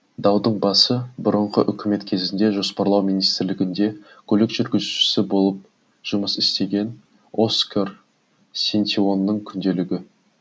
даудың басы бұрынғы үкімет кезінде жоспарлау министрлігінде көлік жүргізушісі болып жұмыс істеген оскар сентеонның күнделігі